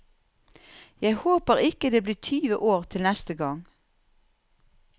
Jeg håper ikke det blir tyve år til neste gang.